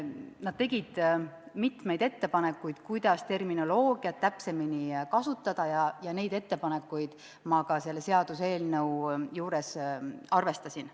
Nad tegid mitmeid ettepanekuid, kuidas terminoloogiat täpsemini kasutada, ja neid ettepanekuid ma ka selles seaduseelnõus arvestasin.